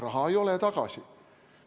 Raha ei ole tagasi!